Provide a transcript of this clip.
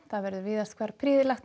verður víðast hvar prýðilegt